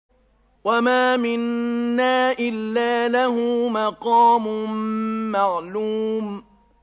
وَمَا مِنَّا إِلَّا لَهُ مَقَامٌ مَّعْلُومٌ